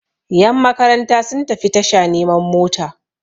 yanmakaranta sun tafi tasha neman mota